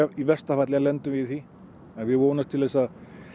í versta falli lendum við í því en við vonumst til að